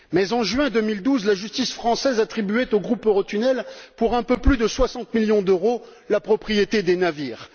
En juin 2012, la justice française attribuait au Groupe Eurotunnel, pour un peu plus de 60 millions d'euros, la propriété des navires.